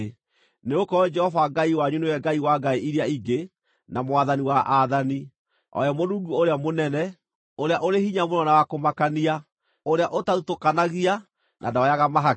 Nĩgũkorwo Jehova Ngai wanyu nĩwe Ngai wa ngai iria ingĩ, na Mwathani wa aathani, o we Mũrungu ũrĩa mũnene, ũrĩa ũrĩ hinya mũno na wa kũmakania, ũrĩa ũtathutũkanagia, na ndoyaga mahaki.